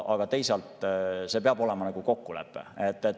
Aga teisalt see peab olema kokkulepe.